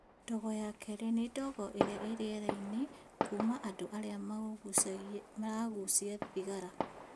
Ndogo ya kerĩ nĩ ndogo i rĩera-inĩ kuma andũ angĩ maragucia thigara